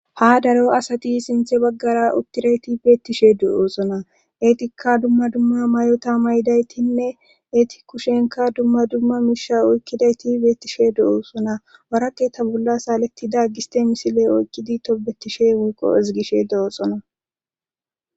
Ha daro asati sinthe baggara uttirayti beettishe du7oosona eetika dumma dumma may7ota mayidaytinne eeti kushenka dumma dumma miisha oykkidayti beettishe du7oosona orake ta bolla saaletida giste misile oykkidi tobetishe wuiqo izigishe doooxona